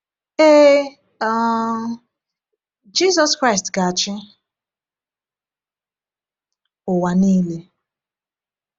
Ee, um Jisus Kraịst ga-achị ụwa niile.